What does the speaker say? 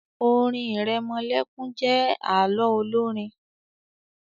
orin iremolekun jé àlọ Olorin.